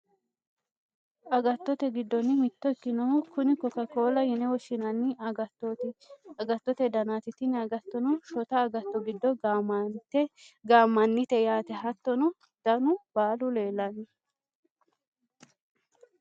agattote giddonni mitto ikkinohu kuni koka koolla yine woshshinani agattote danaati tini agattono shota agatto giddo gaammannite yaate. hattono danu baalu leelanno .